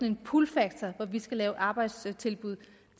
en pull factor hvor vi skal lave arbejdstilbud